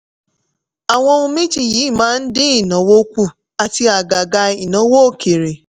àwọn ohun méjì yìí máa ń dín ìnáwó kù àti àgàgà ìnáwó òkèèrè.